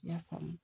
I y'a faamu